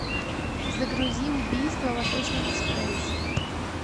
загрузи убийство в восточном экспрессе